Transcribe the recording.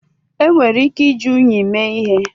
Enwere ike iji unyi mee ihe